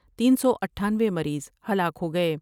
تین سو اٹھانوے مریض ہلاک ہو گئے ۔